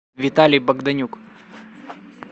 виталий богданюк